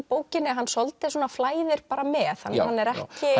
bókinni hann svolítið flæðir bara með hann er